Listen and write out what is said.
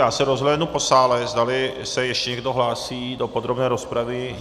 Já se rozhlédnu po sále, zdali se ještě někdo hlásí do podrobné rozpravy.